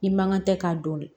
I mankan tɛ k'a dɔn